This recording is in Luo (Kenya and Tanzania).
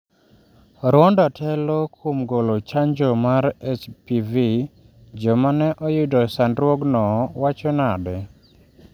Rwanda telo kuom golo chanjo mar HPV, joma ne oyudo sandruogno wacho nade?